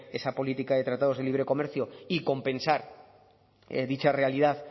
esa política de tratados de libre comercio y compensar dicha realidad